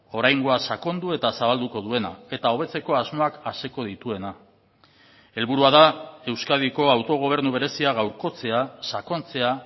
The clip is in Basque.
oraingoa sakondu eta zabalduko duena eta hobetzeko asmoak aseko dituena helburua da euskadiko autogobernu berezia gaurkotzea sakontzea